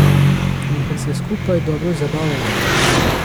In ker se skupaj dobro zabavava.